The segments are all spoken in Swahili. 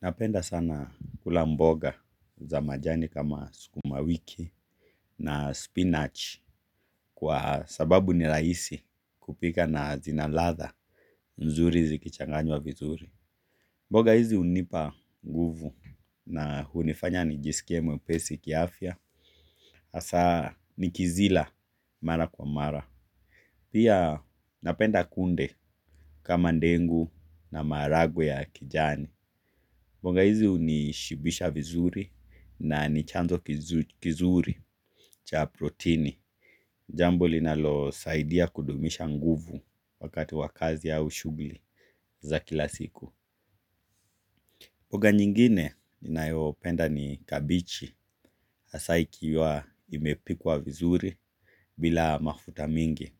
Napenda sana kula mboga za majani kama sukuma wiki na spinach kwa sababu ni rahisi kupika na zinaladha mzuri zikichanganywa vizuri. Mboga hizi hunipa nguvu na hunifanya nijisikie mwepesi kiafya. Hasaa nikizila mara kwa mara. Pia napenda kunde kama ndengu na maragwe ya kijani. Mboga hizi hunishibisha vizuri na nichanzo kizuri cha proteini. Jambo linalo saidia kudumisha nguvu wakati wa kazi au shugli za kila siku. Mboga nyingine ninayopenda ni kabichi hasaa ikiwa imepikwa vizuri bila mafuta mingi.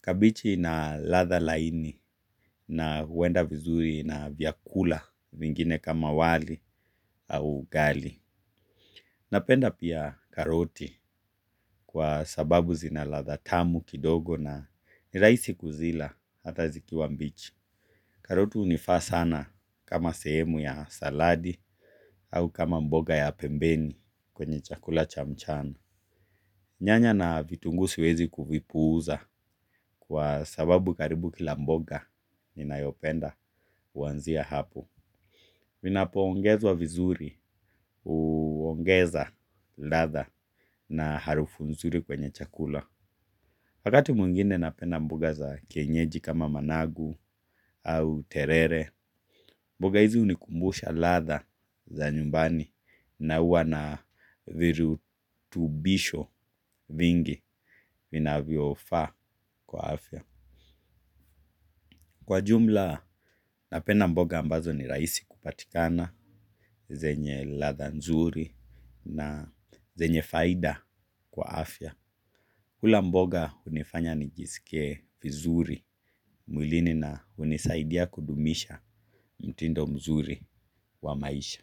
Kabichi ina ladha laini na huwenda vizuri na vyakula vingine kama wali au ugali. Napenda pia karoti kwa sababu zina ladha tamu kidogo na nirahisi kuzila hata zikiwa mbichi. Karoti hunifa sana kama sehemu ya saladi au kama mboga ya pembeni kwenye chakula chamchana. Nyanya na vitunguu siwezi kuvipuuza kwa sababu karibu kila mboga ninayopenda huanzia hapo. Vinapo ongezwa vizuri, huongeza ladha na harufu nzuri kwenye chakula wakati mwingine napenda mboga za kienyeji kama managu au terere mboga hizi hunikumbusha ladha za nyumbani na huwa na virutubisho vingi vinavyofa kwa afya kwa jumla, napenda mboga ambazo ni rahisi kupatikana, zenye ladha nzuri na zenye faida kwa afya. Kula mboga hunifanya nijisikie vizuri, mwilini na hunisaidia kudumisha mtindo mzuri wa maisha.